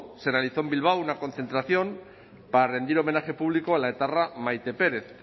se realizó en bilbao una concentración para rendir homenaje público a la etarra maite pérez